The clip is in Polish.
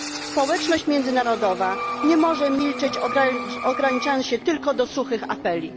Społeczność międzynarodowa nie może milczeć, ograniczając się tylko do suchych apeli.